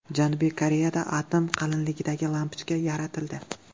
Janubiy Koreyada atom qalinligidagi lampochka yaratildi.